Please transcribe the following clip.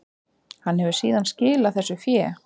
Hann hefur síðan skilað þessu fé